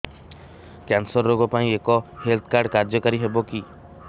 cancer ରୋଗ ପାଇଁ ଏଇ ହେଲ୍ଥ କାର୍ଡ କାର୍ଯ୍ୟକାରି ହେବ କି